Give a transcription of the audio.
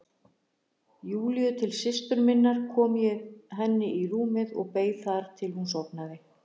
Júlíu til systur minnar kom ég henni í rúmið og beið þar til hún sofnaði.